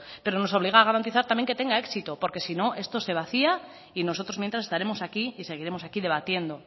pero nos obliga a garantizar también que tenga éxito porque si no esto se vacía y nosotros mientras estaremos aquí y seguiremos aquí debatiendo